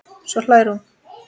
Svo hlær hún.